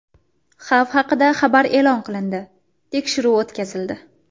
Xavf haqida xabar e’lon qilindi, tekshiruv o‘tkazildi.